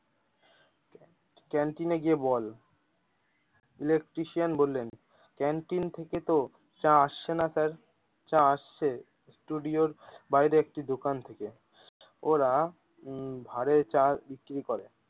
ক্যান্টিনে গিয়ে বল electrician বললেন ক্যান্টিন থেকে তো চা আসছেনা স্যার চা আসছে ষ্টুডিও এর বাইরের একটি দোকান থেকেওরা উম ভাঁড়ে চা বিক্রি করে।